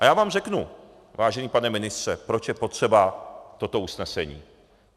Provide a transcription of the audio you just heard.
A já vám řeknu, vážený pane ministře, proč je potřeba toto usnesení.